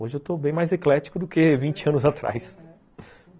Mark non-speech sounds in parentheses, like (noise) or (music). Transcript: Hoje eu estou bem mais eclético do que vinte anos atrás (laughs)